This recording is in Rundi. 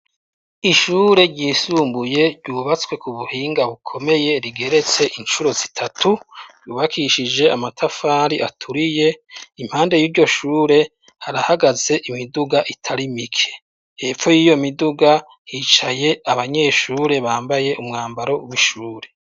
Ishure ryisumbuye ryubatswe ku buhinga bukomeye rigeretse inshuro zitatu yubakishije amatafari aturiye, impande y'iryoshure harahagaze imiduga itarimike, hepfo y'iyo miduga hicaye abanyeshure bambaye umwambaro w'ishure.